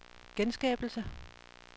genskabelse